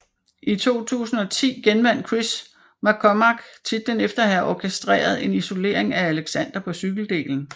I 2010 genvandt Chris McCormack titlen efter at have orkestreret en isolering af Alexander på cykeldelen